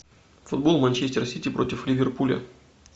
футбол манчестер сити против ливерпуля